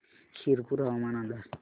शिरपूर हवामान अंदाज